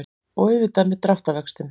Og auðvitað með dráttarvöxtum.